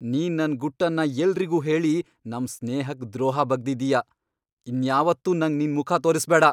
ನೀನ್ ನನ್ ಗುಟ್ಟನ್ನ ಎಲ್ರಿಗೂ ಹೇಳಿ ನಮ್ ಸ್ನೇಹಕ್ ದ್ರೋಹ ಬಗ್ದಿದ್ಯಾ, ಇನ್ಯಾವತ್ತೂ ನಂಗ್ ನಿನ್ ಮುಖ ತೋರ್ಸ್ಬೇಡ.